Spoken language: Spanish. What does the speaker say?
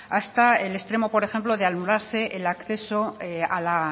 hasta el extremo por ejemplo de anularse el acceso a la